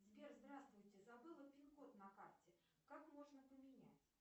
сбер здравствуйте забыла пин код на карте как можно поменять